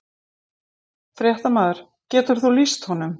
Fréttamaður: Getur þú lýst honum?